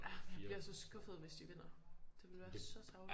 Ja man bliver så skuffet hvis de vinder det ville være så tarveligt